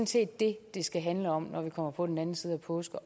set det det skal handle om når vi kommer på den anden side af påske